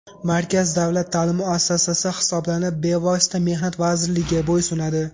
Markaz davlat ta’lim muassasasi hisoblanib, bevosita Mehnat vazirligiga bo‘ysunadi.